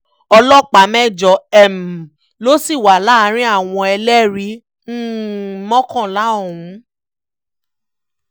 ọlọ́pàá mẹ́jọ um ló sì wà láàrin àwọn ẹlẹ́rìí um mọ́kànlá ọ̀hún